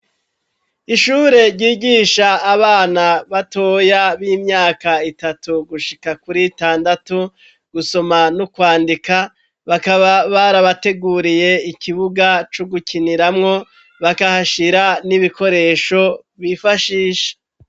Ishure ryigisha abana batoya b'imyaka itatu gushika kuri itandatu gusoma no kwandika bakaba barabateguriye ikibuga co gukiniramwo bakahashira n'ibikoresho bifashisha.